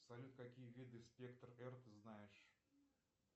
салют какие виды спектр р ты знаешь